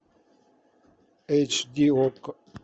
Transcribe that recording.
эйч ди окко